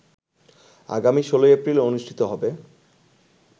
আগামী ১৬ এপ্রিল অনুষ্ঠিত হবে